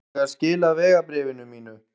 Þarf ég að skila vegabréfinu mínu?